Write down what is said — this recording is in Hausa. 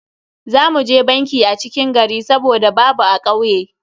Za mu je banki a cikin gari saboda babu a kauye.